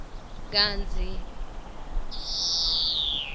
kantsi